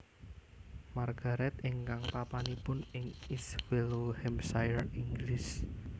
Margaret ingkang papanipun ing East Wellow Hampshire Inggris